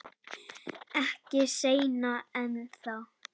Ekki seinna en þá.